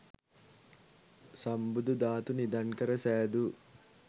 සම්බුදු ධාතු නිධන් කර සෑදූ